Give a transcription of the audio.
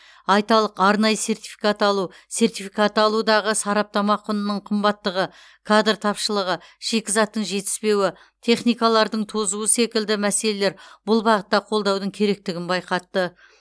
айталық арнайы сертификат алу сертификаты алудағы сараптама құнының қымбаттығы кадр тапышылығы шикізаттың жетіспеуі техникалардың тозуы секілді мәселелер бұл бағытта қолдаудың керектігін байқатты